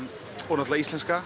náttúrulega íslenska